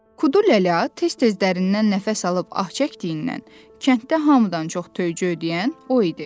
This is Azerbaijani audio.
Kudu lələ tez-tez dərindən nəfəs alıb ah çəkdiyindən kənddə hamıdan çox töycü ödəyən o idi.